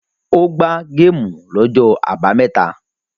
O gbá géémù lọ́jọ́ àbámẹ́ta.